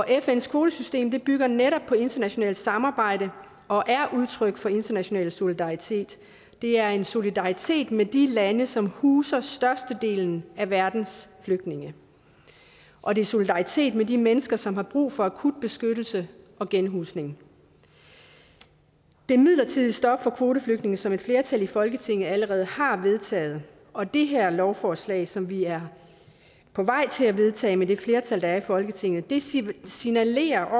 fns kvotesystem bygger netop på internationalt samarbejde og er et udtryk for international solidaritet det er en solidaritet med de lande som huser størstedelen af verdens flygtninge og det er solidaritet med de mennesker som har brug for akut beskyttelse og genhusning det midlertidige stop for kvoteflygtninge som et flertal i folketinget allerede har vedtaget og det her lovforslag som vi er på vej til at vedtage med det flertal der er i folketinget signalerer